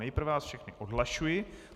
Nejprve vás všechny odhlašuji.